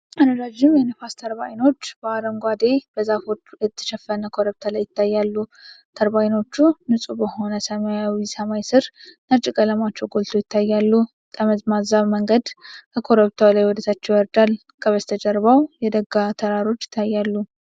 ረዣዥም የነፋስ ተርባይኖች በአረንጓዴ፣ በዛፎች የተሸፈነ ኮረብታ ላይ ይታያሉ። ተርባይኖቹ ንጹህ በሆነ ሰማያዊ ሰማይ ስር ነጭ ቀለማቸው ጎልቶ ይታያሉ። ጠመዝማዛ መንገድ ከኮረብታው ላይ ወደ ታች ይወርዳል፤ ከበስተጀርባው የደጋ ተራሮች ይታያሉ።